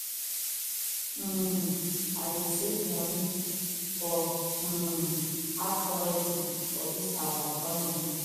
um i dey save moni for um hard currency for dis our economy